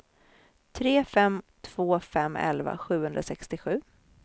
tre fem två fem elva sjuhundrasextiosju